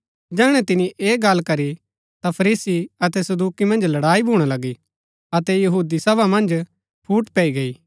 जैहणै तिनी ऐह गल्ल करी ता फरीसी अतै सदूकि मन्ज लड़ाई भूणा लगी अतै सभा मन्ज फूट पैई गई